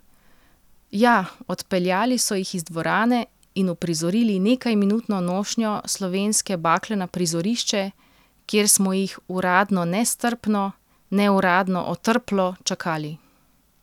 Ja, odpeljali so jih iz dvorane in uprizorili nekajminutno nošnjo slovenske bakle na prizorišče, kjer smo jih, uradno nestrpno, neuradno otrplo, čakali.